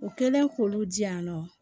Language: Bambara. U kɛlen k'olu di yan nɔ